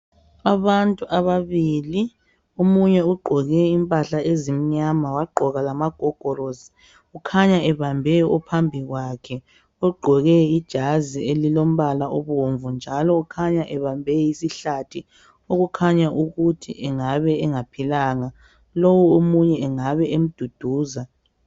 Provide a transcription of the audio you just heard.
Abantu ababili. Omunye ugqoke impahla ezimnyama. Wagqoka lamagogorosi. Ukhanya ebambe ophambi kwakhe , ogqoke ijazi elilombala obomvu njalo ukhanya ebambe isihlathi, okukhanya ukuthi engabe engaphilanga. Lo omunye angabe emduduza.